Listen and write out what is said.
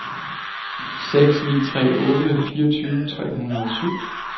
seks ni tre otte fireogtyve tre hundrede og syv